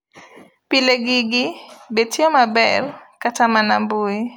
Pile gigi btiyo maber kata mana mbui. Often, these interfaces even work right in your web browser!